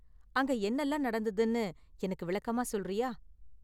அங்க என்னலாம் நடந்ததுனு எனக்கு விளக்கமா சொல்றியா?